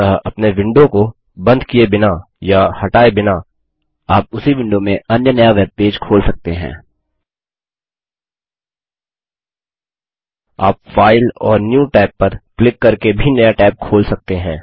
अतः अपने विंडो को बंद किए बिना या हटाये बिना आप उसी विंडो में अन्य नया वेबपेज खोल सकते हैं